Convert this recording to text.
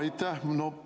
Aitäh!